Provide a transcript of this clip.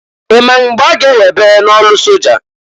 I ma mgbe a ga- ewebe n'ọlụ soja?